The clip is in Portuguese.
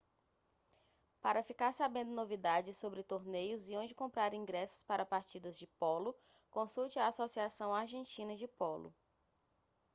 para ficar sabendo novidades sobre torneios e onde comprar ingressos para partidas de polo consulte a associação argentina de polo